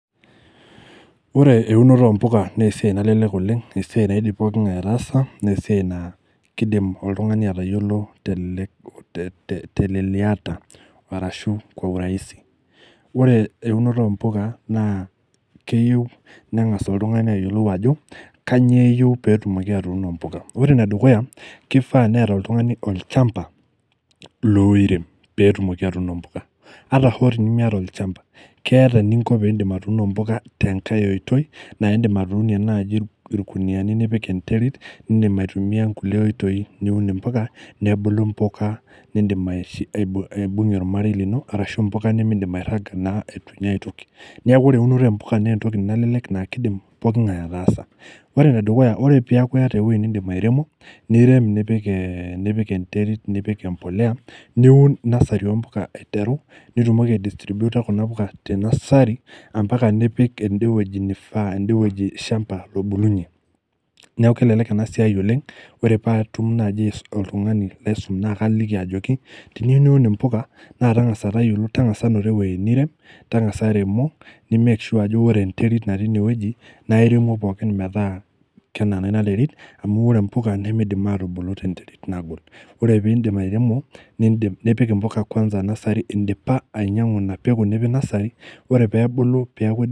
Ore unoto ompuka naa esiai nalelek oleng, esiai naidim poki ngae ataasa , naa esiai naa kidim poki ngae atayiolo teleku, tete, teleleliata arashu itum kwa urahisi. Ore eunot ompuka naa keyieu nengas oltungani ayiolou kanyio eyieu pee etumoki atuuno mpuka. Ore enedukuya , kifaa neeta oltungani olchamba loirem petumoki atuuno mpuka ata hoo tenimiata olchamba , keeta eninko pindim atuuno mpuka tenkae oitoi naa indim atuunie naji irkuniani nipik enterit , nindim aitumia nkulie oitoi , niun impuka ,nebulu mpuka nindim aibungie ormarei lino arashu mpuka nimidim airanga naa itu inyia aitoki . Neeku ore eunoto ompuka naa entoki nalelek naa kidim pooki ngae ataasa .Ore enedukuya ore peaku iyata ewueji nindim airemo, nirem, nipik ee , nipik enterit , nipik empolea, niun nursery ompuka aiteru ,ore pitumoki aidistrubutor kuna puka tenursery ampaka nipik ende wueji nifaa , ende wueji shamba , lobulunyie . Niaku kelelek ena siai oleng , ore patum naji oltungani laisum naa kaliki ajoki tiniyieu niun impuka naa tangasa tayiolo , tangasa noto eweuji nirem , tangasa iremo, nimakesure ajo ore enterit natii ine wueji naa iremu pookin metaa kenana ina terit amu ore mpuka nimidim atubulu tenterit nagol, ore pindip airemo , nipik impuka kwansa nursery indipa ainyiangu ina peku , nipik nursery ore pebulu peaku.